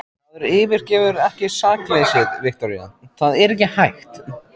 Maður yfirgefur ekki sakleysið, Viktoría, það er ekki hægt.